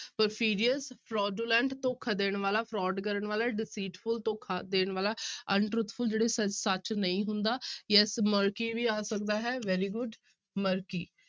Perfidious, Fraudulent ਧੋਖਾ ਦੇਣ ਵਾਲਾ fraud ਕਰਨ ਵਾਲਾ deceitful ਧੋਖਾ ਦੇਣ ਵਾਲਾ untruthful ਜਿਹੜੇ ਸ~ ਸੱਚ ਨਹੀਂ ਹੁੰਦਾ ਜਾਂ ਵੀ ਆ ਸਕਦਾ ਹੈ very good murky